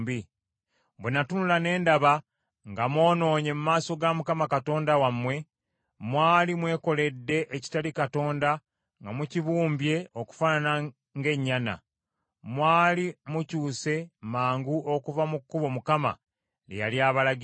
Bwe natunula ne ndaba nga mwonoonye mu maaso ga Mukama Katonda wammwe; mwali mwekoledde ekitali Katonda nga mukibumbye okufaanana ng’ennyana; mwali mukyuse mangu okuva mu kkubo Mukama lye yali abalagidde.